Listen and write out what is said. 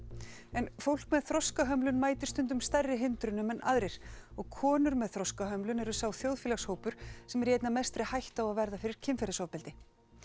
en fólk með þroskahömlun mætir stundum stærri hindrunum en aðrir og konur með þroskahömlun eru sá þjóðfélagshópur sem er í einna mestri hættu á að verða fyrir kynferðisofbeldi